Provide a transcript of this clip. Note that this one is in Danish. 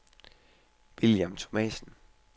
William Thomasen